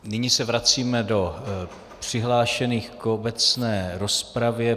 Nyní se vracíme k přihlášeným k obecné rozpravě.